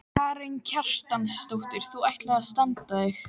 Karen Kjartansdóttir: Þú ætlar að standa þig?